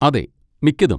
അതെ, മിക്കതും.